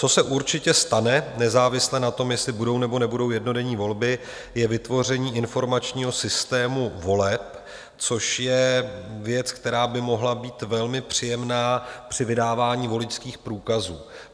Co se určitě stane nezávisle na tom, jestli budou, nebo nebudou jednodenní volby, je vytvoření informačního systému voleb, což je věc, která by mohla být velmi příjemná při vydávání voličských průkazů.